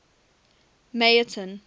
meyerton